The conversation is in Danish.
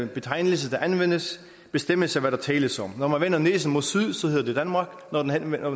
betegnelse der anvendes bestemmes af hvad der tales om når man vender næsen mod syd hedder det danmark når man vender